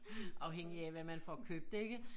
Afhængigt af hvad man får købt ikke